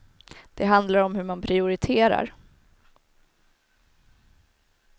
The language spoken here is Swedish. Det handlar om hur man prioriterar.